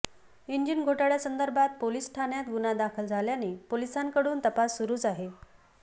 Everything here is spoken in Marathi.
इंजिन घोटाळयासंदर्भात पोलिस ठाण्यात गुन्हा दाखल झाल्याने पोलिसांकडून तपास सुरूच आहे